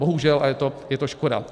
Bohužel, a je to škoda.